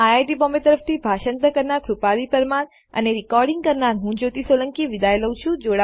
IIT Bombay તરફ થી ભાષાંતર કરનાર હું કૃપાલી પરમાર વિદાય લઉં છું